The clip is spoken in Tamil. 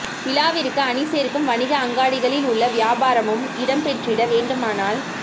விழாவிற்கு அணி சேர்க்கும் வணிக அங்காடிகளில் உங்கள் வியாபாரமும் இடம்பெற்றிட வேண்டுமானால்